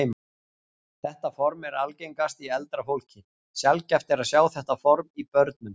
Þetta form er algengast í eldra fólki, sjaldgæft er að sjá þetta form í börnum.